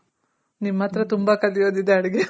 ನಿಮ್ ಹತ್ರ ತುಂಬ ಕಲಿಯೋದಿದೆ ಅಡ್ಗೆ